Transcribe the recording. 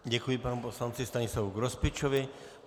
Děkuji panu poslanci Stanislavu Grospičovi.